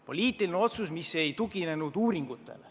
Poliitiline otsus, mis ei tuginenud uuringutele.